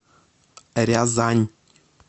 рязань